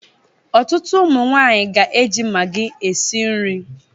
Ọtụtụ ụmụ nwanyị ga-eji maggi esi nri.